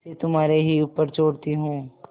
इसे तुम्हारे ही ऊपर छोड़ती हूँ